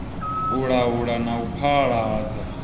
u laula na u phaaladza